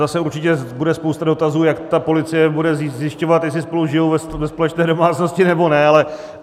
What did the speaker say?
Zase určitě bude spousta dotazů, jak ta policie bude zjišťovat, jestli spolu žijí ve společné domácnosti nebo ne.